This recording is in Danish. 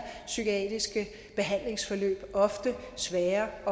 psykiatriske behandlingsforløb ofte svære at